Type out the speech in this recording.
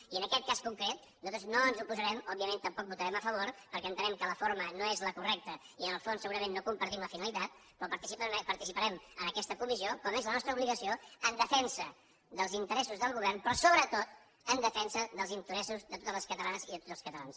i en aquest cas concret nosaltres no ens hi oposarem òbviament tampoc hi votarem a favor perquè entenem que la forma no és la correcta i en el fons segurament no compartim la finalitat però participarem en aquesta comissió com és la nostra obligació en defensa dels interessos del govern però sobretot en defensa dels interessos de totes les catalanes i de tots els catalans